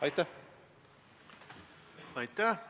Aitäh!